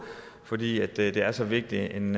fordi det det er så vigtig en